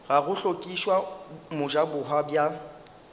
go go hlokiša mojabohwa bja